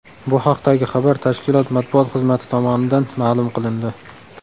Bu haqdagi xabar tashkilot matbuot xizmati tomonidan ma’lum qilindi .